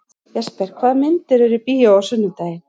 Jesper, hvaða myndir eru í bíó á sunnudaginn?